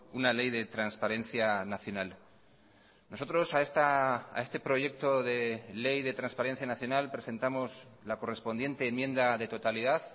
una ley de transparencia nacional nosotros a este proyecto de ley de transparencia nacional presentamos la correspondiente enmienda de totalidad